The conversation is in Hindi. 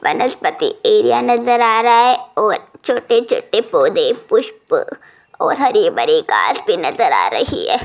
वनस्पति एरिया नजर आ रहा है और छोटे छोटे पौधे पुष्प और हरे भरे घास भी नजर आ रही है।